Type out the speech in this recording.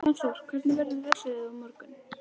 Fannþór, hvernig verður veðrið á morgun?